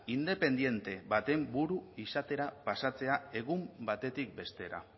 independente baten buru izatera pasatzea egun batetik bestera